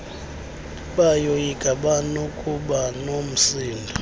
bayoyika banokuba nomsindo